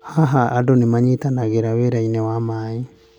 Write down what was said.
Haha, andũ nĩ manyitanagĩra wĩra-inĩ wa maĩ.